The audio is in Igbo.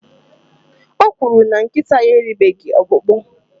o kwuru na nkịta ya eribeghị ọkpụkpụ